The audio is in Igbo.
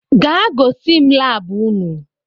gaa gois m lab unu!